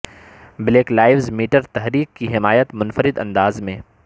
black lives matter تحریک کی حمایت منفرد انداز میں